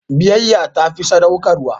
Biyayya ta fi sadaukarwa.